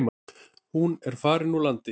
Hún er farin úr landi.